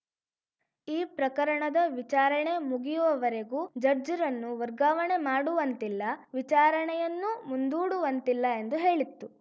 ಈ ಪ್ರಕರಣದ ವಿಚಾರಣೆ ಮುಗಿಯುವವರೆಗೂ ಜಡ್ಜ್‌ರನ್ನು ವರ್ಗಾವಣೆ ಮಾಡುವಂತಿಲ್ಲ ವಿಚಾರಣೆಯನ್ನೂ ಮುಂದೂಡುವಂತಿಲ್ಲ ಎಂದು ಹೇಳಿತ್ತು